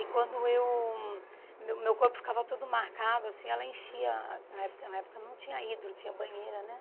E quando eu... Meu meu corpo ficava todo marcado, assim, ela enchia... Na época na época não tinha hidro, tinha banheira, né?